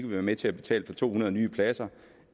være med til at betale for to hundrede nye pladser